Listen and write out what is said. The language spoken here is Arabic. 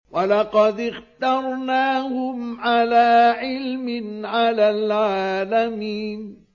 وَلَقَدِ اخْتَرْنَاهُمْ عَلَىٰ عِلْمٍ عَلَى الْعَالَمِينَ